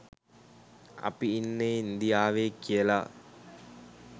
අපි ඉන්නෙ ඉන්දියාවෙ කියලා